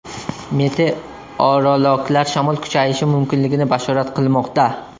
Meteorologlar shamol kuchayishi mumkinligini bashorat qilmoqda.